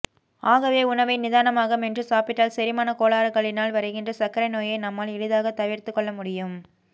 ஆகவே உணவை நிதானமாக மென்று சாப்பிட்டால் செரிமான கோளாறுகளினால் வருகின்ற சர்க்கரை நோயை நம்மால் எளிதாக தவிர்த்து கொள்ள முடியும்